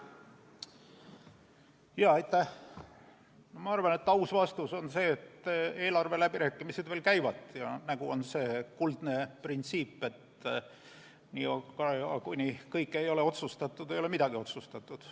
Ma arvan, et aus vastus on see, et eelarveläbirääkimised veel käivad ja on nagu see kuldne printsiip, et niikaua, kuni kõik ei ole otsustatud, ei ole midagi otsustatud.